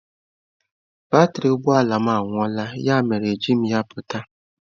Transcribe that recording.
Batrị ụgbọ ala m agwuola, ya mere ejighị m ya pụta.